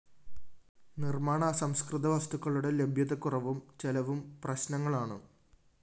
നിര്‍മ്മാണ അസംസ്‌കൃത വസ്തുക്കളുടെ ലഭ്യതക്കുറവും ചെലവും പ്രശ്‌നങ്ങളാണ്